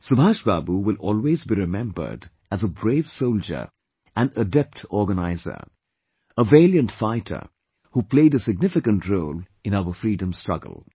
Subhash Babu will always be remembered as a brave soldier and adept organiser; a valiant fighter who played a significant role in our Freedom Struggle